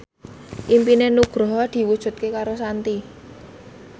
impine Nugroho diwujudke karo Shanti